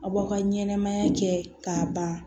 Aw ka ɲɛnɛmaya kɛ k'a ban